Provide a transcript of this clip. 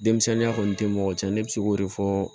Denmisɛnninya kɔni tɛ mɔgɔ cɛn ne bɛ se k'o de fɔ